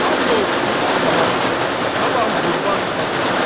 And olsun Allaha, sabah züvvar çıxacaq.